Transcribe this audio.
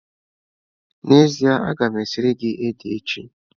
N'ezie, a ga m esiri gị ede echi.